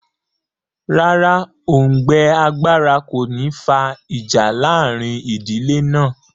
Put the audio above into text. Rárá, òùngbẹ agbára kò ní fa ìjà láàrin ìdílé náà